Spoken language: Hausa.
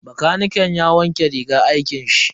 Bakaniken ya wanke rigar aikin shi.